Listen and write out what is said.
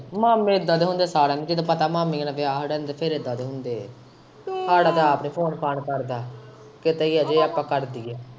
ਮਾਮੇ ਇੱਦਾ ਦੇ ਹੁੰਦੇ ਸਾਰਿਆਂ ਦੇ ਤੈਨੂੰ ਪਤਾ ਮਾਮੀਆਂ ਦੇ ਵਿਆਹ ਹੋ ਹਟਦੇ ਫੇਰ ਇੱਦਾ ਦੇ ਹੁੰਦੇ ਏ ਸਾਡਾ ਤਾਂ ਆਪ ਨੀ ਫ਼ੋਨ ਫਾੱਨ ਕਰਦਾ ਕਿਤੇ ਹੀ ਏ ਜੇ ਆਪਾਂ ਕਰ ਦਈਏ।